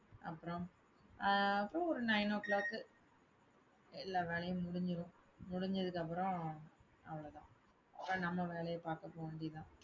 அப்புறம், அஹ் அப்புறம் ஒரு nine o'clock எல்லா வேலையும் முடிஞ்சிரும். முடிஞ்சதுக்கு அப்புறம் அவ்வளவுதான். அப்புறம் நம்ம வேலையை பார்க்க போக வேண்டியதுதான்.